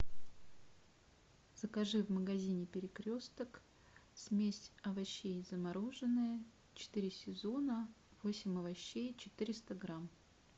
закажи в магазине перекресток смесь овощей замороженные четыре сезона восемь овощей четыреста грамм